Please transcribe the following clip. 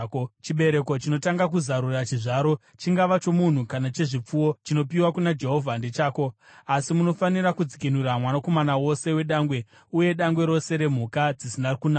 Chibereko chinotanga kuzarura chizvaro, chingava chomunhu kana chechipfuwo, chinopiwa kuna Jehovha, ndechako. Asi unofanira kudzikinura mwanakomana wose wedangwe uye dangwe rose remhuka dzisina kunaka.